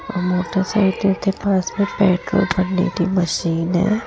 Motorcycle के पास में पेट्रोल भरने की मशीन है।